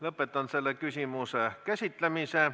Lõpetan selle küsimuse käsitlemise.